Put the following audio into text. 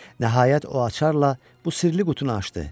Nəhayət o açarla bu sirli qutunu açdı.